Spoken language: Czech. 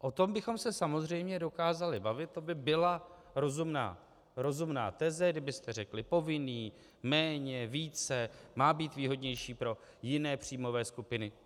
O tom bychom se samozřejmě dokázali bavit, to by byla rozumná teze, kdybyste řekli: povinný, méně, více, má být výhodnější pro jiné příjmové skupiny.